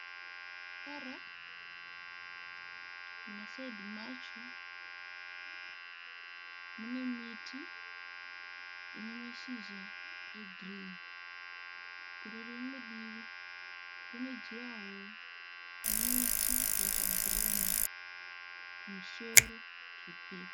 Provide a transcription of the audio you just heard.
Tara muma saidhi macho mune miti ine mashizha egirini, kune rimwe divi kune juraworo nemiti yakabhuruma kumusoro zvepepo.